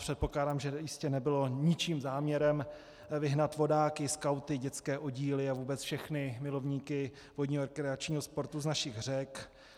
Předpokládám, že jistě nebylo ničím záměrem vyhnat vodáky, skauty, dětské oddíly a vůbec všechny milovníky vodního rekreačního sportu z našich řek.